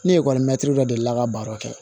Ne ekɔlimɛri dɔ delila ka baro kɛ